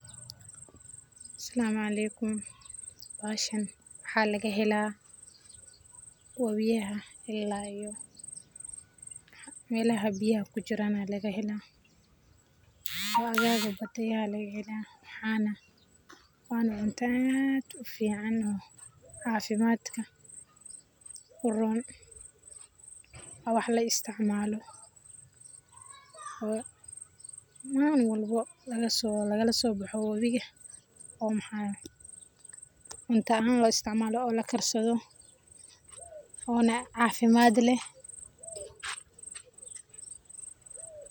Asalam aleikum bahashan waxa laga helaa wobiyaha ila iyo melaha biyaha kujiran aa laga helaa. agaga batayaha lagahelaa wana cunta aad ufican oo caafimadka uron waa wax la isticmaalo malin walbo lagalaso boxo wobiga oo maxa cunta ahan loo isticmaalo oo la karsado ona caafimad leh